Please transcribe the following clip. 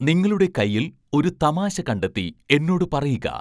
നിങ്ങളുടെ കയ്യിൽ ഒരു തമാശ കണ്ടെത്തി എന്നോട് പറയുക